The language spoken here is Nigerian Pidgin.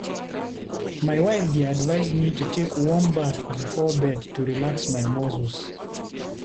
My wife dey advise me to take warm bath before bed to relax my muscles.